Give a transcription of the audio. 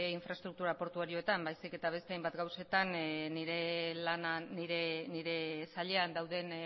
infraestruktura portuarioetan baizik eta beste hainbat gauzetan nire sailean dauden